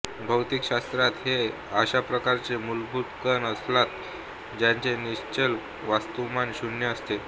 भौतिकशास्त्रात हे अशाप्रकारचे मूलभूत कण असतात ज्यांचे निश्चल वस्तुमान शून्य असते